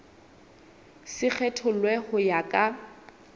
se kgethollwe ho ya ka